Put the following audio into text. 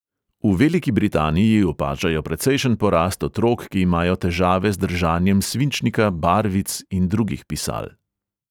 V veliki britaniji opažajo precejšen porast otrok, ki imajo težave z držanjem svinčnika, barvic in drugih pisal.